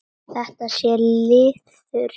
Þetta sé liður í því.